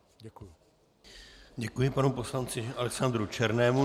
Děkuji panu poslanci Alexandru Černému.